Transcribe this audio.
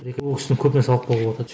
ол кісіден көп нәрсе алып қалуға болатын еді